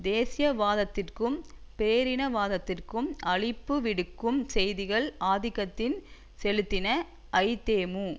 தேசியவாதத்திக்கும் பேரினவாதத்திக்கும் அழைப்புவிடுக்கும் செய்திகள் ஆதிக்கம் செலுத்தின ஐதேமு